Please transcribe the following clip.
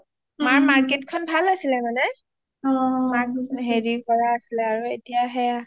মাৰ Market খন ভাল আছিলে মানে মানে হেৰি কৰা আছিলে মানে এতিয়া সেইয়া